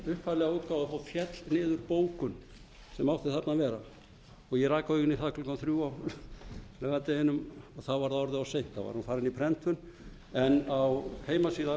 upphaflega útgáfu féll niður bókun sem átti að vera þarna og ég rak augun í það klukkan þrjú á laugardeginum að þá var það orðið of seint þá var hún farin í prentun en á heimasíðu